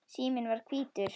Síminn var hvítur.